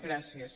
gràcies